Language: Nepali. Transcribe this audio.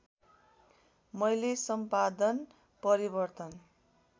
मैले सम्पादन परिवर्तन